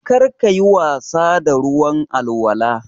Kar ka yi wasa da ruwan alwala.